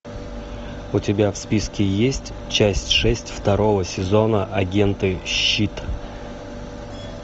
у тебя в списке есть часть шесть второго сезона агенты щит